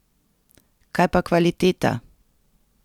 Kaj pa kvaliteta?